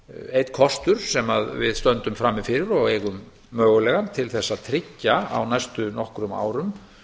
einn kostur sem við stöndum frammi fyrir og eigum mögulegan til þess að tryggja á næstu nokkrum árum